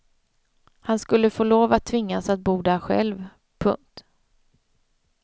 Han skulle få lov eller tvingas att bo där själv. punkt